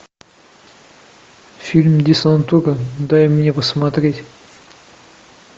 фильм десантура дай мне посмотреть